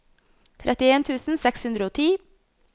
trettien tusen seks hundre og ti